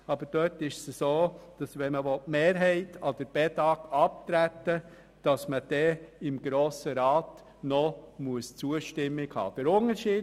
Gemäss Artikel 5 des Bedag-Gesetzes muss man die Zustimmung des Grossen Rats einholen, wenn man die Stimmenmehrheit abgeben will.